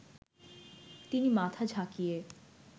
তিনি মাথা ঝাঁকিয়ে